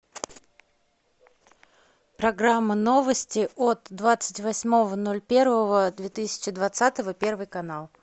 программа новости от двадцать восьмого ноль первого две тысячи двадцатого первый канал